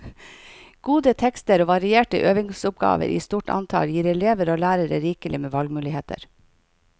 Gode tekster og varierte øvingsoppgaver i stort antall gir elever og lærere rikelig med valgmuligheter.